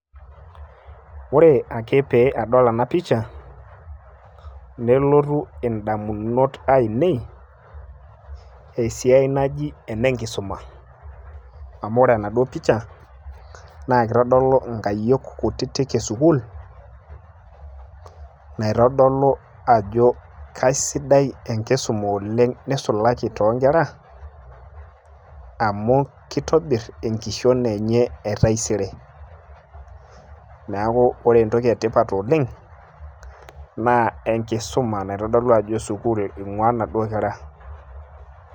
ore ake pee adol ena picha nelotu idamunot aainei, esiai naji enenkisuma. amu ore enaduoo pica naa kitodlu inkayiok esukuul, naitodolu ajo, kasidai enkisuma oleng'nisulaki too nkera amu kitobir enkishon enye e taisere, neeku ore entoki sidai oleng naa enkisma naing'uaa inaduoo kera.